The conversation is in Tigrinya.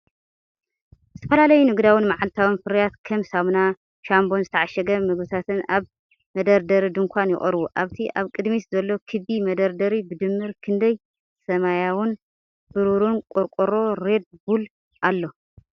ዝተፈላለዩ ንግዳውን መዓልታዊን ፍርያት ከም ሳሙና፡ ሻምፖን ዝተዓሸገ መግብታትን ኣብ መደርደሪ ድኳን ይቐርቡ። ኣብቲ ኣብ ቅድሚት ዘሎ ክቢ መደርደሪ ብድምር ክንደይ ሰማያውን ብሩርን ቆርቆሮ 'ሬድ ቡል' ኣሎ?